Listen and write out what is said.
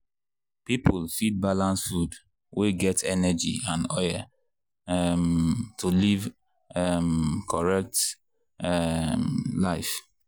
people fit balance food wey get energy and oil um to live um correct um life.